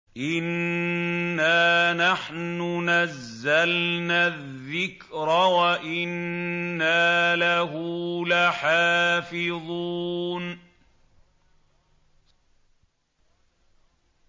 إِنَّا نَحْنُ نَزَّلْنَا الذِّكْرَ وَإِنَّا لَهُ لَحَافِظُونَ